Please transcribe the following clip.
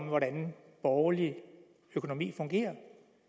hvordan borgerlig økonomi fungerer